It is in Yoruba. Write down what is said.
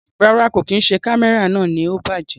Rárá, kò kí n ṣe Kámẹ́rà náà ni ó bàjẹ́.